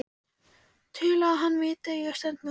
Til að hann viti að ég stend með honum.